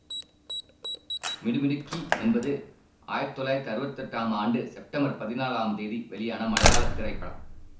மிடுமிடுக்கி என்பது ஆயிரத்தி தொள்ளாயிரத்தி அறுவத்தெட்டாம் ஆண்டு செப்டம்பர் பதினாலாம் தேதி வெளியான மலையாள திரைப்படம்